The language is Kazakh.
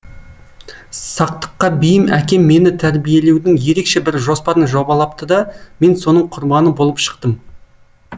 сақтыққа бейім әкем мені тәрбиелеудің ерекше бір жоспарын жобалапты да мен соның құрбаны болып шықтым